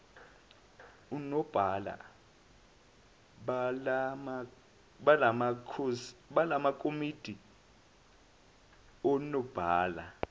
onobhala balamakomidi onobhala